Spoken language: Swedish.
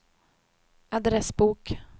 adressbok